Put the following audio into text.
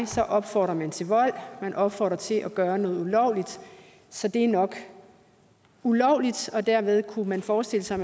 så opfordrer man til vold man opfordrer til at gøre noget ulovligt så det er nok ulovligt og dermed kunne man forestille sig